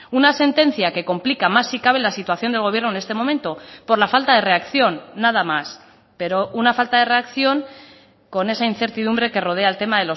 una sentencia que complica más si cabe la situación del gobierno en este momento por la falta de reacción nada más pero una falta de reacción con esa incertidumbre que rodea el tema